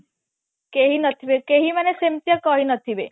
କେହି ନଥିବେକେହି ମାନେ ସେମିତିଆ କରି ନଥିବେ